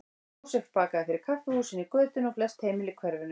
Jósef bakaði fyrir kaffihúsin í götunni og flest heimili í hverfinu.